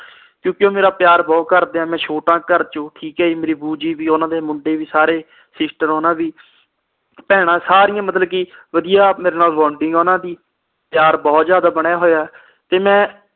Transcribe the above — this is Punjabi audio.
ਕਿਉਂਕਿ ਉਹ ਮੇਰਾ ਪਿਆਰ ਬਹੁਤ ਕਰਦੇ ਆ ਮੈਂ ਛੋਟਾ ਆ ਘਰ ਚੋ ਠੀਕ ਆ ਜੀ ਮੇਰੀ ਭੁਜੀ ਵੀ ਓਹਨਾ ਦੇ ਮੁੰਡੇ ਵੀ ਸਾਰੇ ਸਿਸਟਰ ਓਹਨਾ ਦੀ ਭੈਣਾਂ ਸਾਰੀਆਂ ਮਤਲਬ ਕੇ ਵਧੀਆ ਮੇਰੇ ਨਾਲ ਓਹਨਾ ਦੀ ਪਿਆਰ ਬਹੁਤ ਜ਼ਿਆਦਾ ਬਣਿਆ ਹੋਇਆ ਤੇ ਮੈਂ